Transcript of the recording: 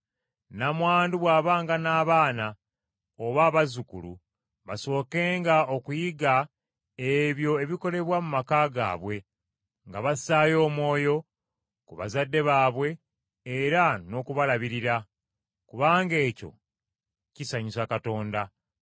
Nnamwandu bw’abanga n’abaana oba abazzukulu basookenga okuyiga ebyo ebikolebwa mu maka ge waabwe, nga bassaayo omwoyo ku bazadde baabwe era n’okubalabirira. Kubanga ekyo kisanyusa Katonda.